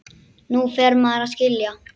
Nú fer maður að skilja!